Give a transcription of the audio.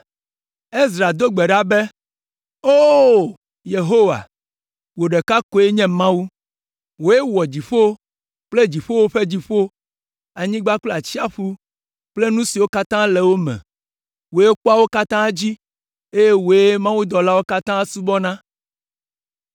Ezra do gbe ɖa be, “O! Yehowa, wò ɖeka koe nye Mawu. Wòe wɔ dziƒo kple dziƒowo ƒe dziƒo, anyigba kple atsiaƒu kple nu siwo katã le wo me. Wòe kpɔa wo katã dzi, eye wòe mawudɔlawo katã subɔna.